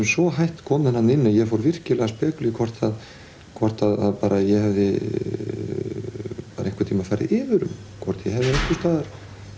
svo hætt kominn þarna inni að ég fór virkilega að spekulera hvort hvort ég hefði bara einhvern tíman farið yfir um hvort ég hefði einhvers staðar